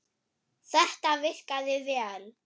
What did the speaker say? Þetta virkaði vel.